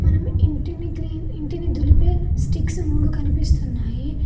ఇంటిని దులిపే స్టిక్స్ మూడు కనిపిస్తున్నాయి.